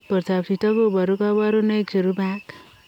Portoop chitoo kobaruu kabarunaik cherubei ak